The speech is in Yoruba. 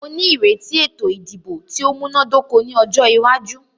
Mó ní ìrètí ètò ìdìbò tí o múná dóko ní ọjọ́ iwájú.